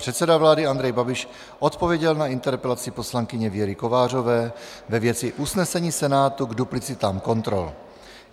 Předseda vlády Andrej Babiš odpověděl na interpelaci poslankyně Věry Kovářové ve věci usnesení Senátu k duplicitám kontrol.